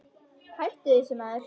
Hættu þessu maður!